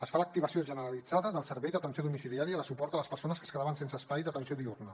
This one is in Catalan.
es fa l’activació generalitzada del servei d’atenció domiciliària de suport a les persones que es quedaven sense espai d’atenció diürna